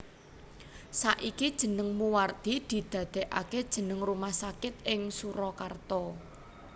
Saiki jeneng Moewardi didadekake jeneng Rumah Sakit ing Surakarta